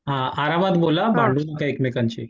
हां आरामात बोला भांडू नका एकमेकांशी.